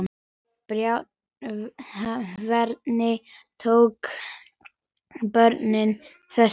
Björn: Hvernig tóku börnin þessu?